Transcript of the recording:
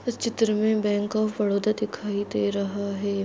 इस चित्र मे बैंक ऑफ बड़ाैदा दिखाई दे रहा है।